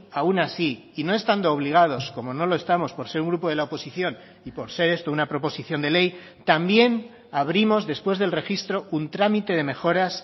aun así y no estando obligados como no lo estamos por ser un grupo de la oposición y por ser esto una proposición de ley también abrimos después del registro un trámite de mejoras